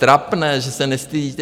Trapné, že se nestydíte!